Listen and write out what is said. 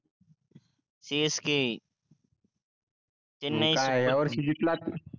CSK chennai super king मग काय हाय वर्षी जिकला